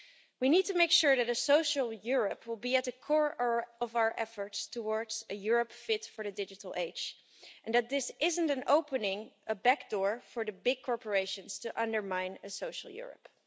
We need to make sure that a social Europe will be at the core of our efforts towards a Europe fit for the digital age, and that this isn't an opening, a back door, for the big corporations to undermine a social Europe.